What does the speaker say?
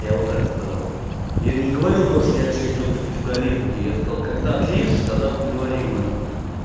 я вот так сказал я не говорил то что я общаюсь только с пиздолизами я сказал когда отлижишь тогда поговорим нахуй